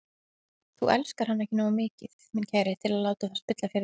Þú elskar hana ekki nógu mikið, minn kæri, til að láta það spilla fyrir þér.